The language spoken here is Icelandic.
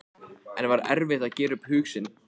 En var erfitt að gera upp hug sinn?